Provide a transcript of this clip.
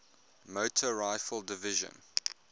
motor rifle division